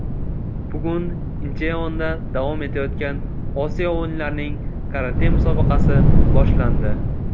Bugun Incheonda davom etayotgan Osiyo o‘yinlarining karate musobaqasi boshlandi.